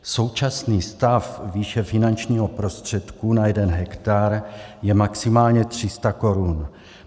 Současný stav výše finančního prostředku na jeden hektar je maximálně 300 korun.